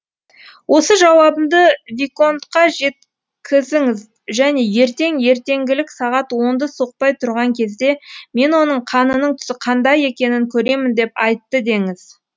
осы жауабымды виконтқа жеткізіңіз және ертең ертеңгілік сағат онды соқпай тұрған кезде мен оның қанының түсі қандай екенін көремін деп айтты деңіз